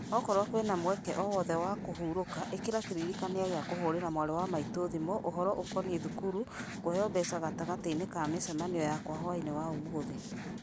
okorwo kwĩna mweke o wothe wa kũhurũka ĩkĩra kĩririkania gĩa kũhũrĩra mwarĩ wa maitũ thimũ ũhoro ũkoniĩ thukuru kũheo mbeca gatagatĩ-inĩ ka mĩcemanio yakwa hwaĩ-inĩ wa ũmũthĩ